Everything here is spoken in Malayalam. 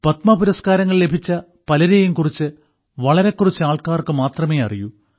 പത്മപുരസ്കാരങ്ങൾ ലഭിച്ച പലരെയും കുറിച്ച് വളരെ കുറച്ചു ആൾക്കാർക്ക് മാത്രമേ അറിയൂ